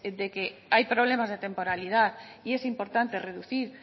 de que hay problemas de temporalidad y es importante reducir